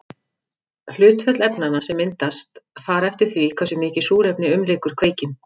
Hlutföll efnanna sem myndast fara eftir því hversu mikið súrefni umlykur kveikinn.